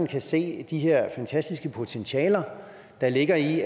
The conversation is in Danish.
kan se de her fantastiske potentialer der ligger i